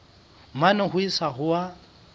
mane ho isa ho a